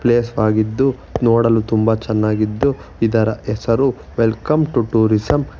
ಆಗಿದ್ದು ನೋಡಲು ತುಂಬ ಚೆನ್ನಾಗಿದ್ದು ಇದರ ಹೆಸರು ವೆಲ್ಕಮ್ ಟೂ ಟೂರಿಸಂ --